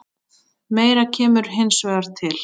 Meira kemur hins vegar til.